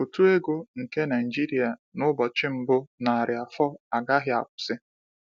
Ụtụ ego nke Naijiria n’ụbọchị mbụ narị afọ agahị akwụsị.